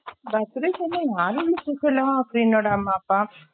birthday கு என்ன யாருமே இல்ல சும்மா சுதன் friend ஓட அம்மா அப்பா